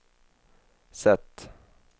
sätt